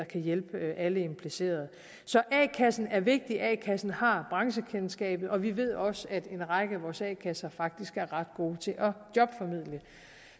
kan hjælpe alle de implicerede så a kassen er vigtig a kassen har branchekendskabet og vi ved også at en række af vores a kasser faktisk er ret gode til at jobformidle